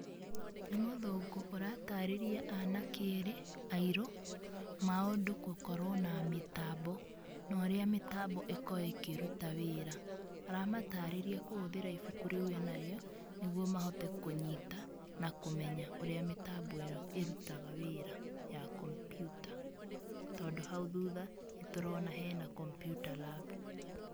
Nĩ mũthũngũ ũratarĩria anake erĩ airũ, maũndũ gũkorwo na mĩtambo na ũrĩa mĩtambo ĩkoragwo ĩkĩruta wĩra. Aramatarĩria kũhũthĩra ibuku rĩu enarĩo nĩ guo mahote kũnyita na kũmenya ũrĩa mĩtambo ĩo ĩrutaga wĩra ya komputa, tondũ hau thutha nĩ tũrona hena computer lab.